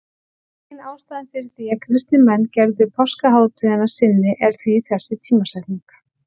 Ein ástæðan fyrir því að kristnir menn gerðu páskahátíðina að sinni er því þessi tímasetning.